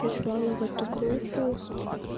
прислала в эту группу